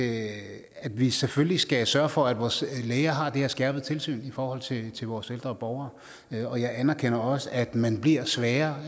at vi selvfølgelig skal sørge for at vores læger har det her skærpede tilsyn i forhold til til vores ældre borgere og jeg anerkender også at man bliver svagere